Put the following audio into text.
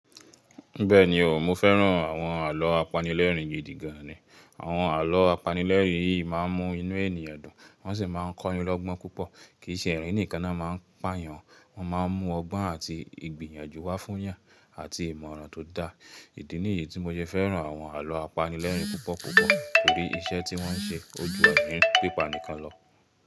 Bẹ́ẹ̀ni o, mo fẹ́ràn àwọn àlọ́ apanilẹ́rìń gíídí gan an ni. Àwọn alọ́ apanilẹ́rìn yìí máa ń mú inú ènìyàn dùn wọ́n sì máa ń kọ́ni lọ́gbọ́n púpọ̀. Kìí ṣe ẹ̀rín nìkan náà má ń pà yàn, wọ́n má ń mú ọgbọ́n àti ìgbìyànjú wá fún yàn, àti ìmọ̀ràn tó dáa. Ìdí ni yì tí mo ṣe fẹ́ràn àwọn alọ́ apanilẹ́rìn púpọ̀ púpọ̀ torí iṣẹ́ tí wọ́n ń ṣe ó jù ẹ̀rín pípa nìkan lọ.